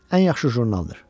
Ən yaxşı jurnaldır.